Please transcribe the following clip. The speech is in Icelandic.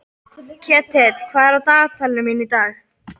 Ketill, hvað er á dagatalinu mínu í dag?